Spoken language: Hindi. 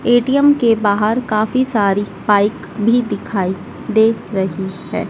ए_टी_एम के बाहर काफी सारी बाइक भी दिखाई दे रही है।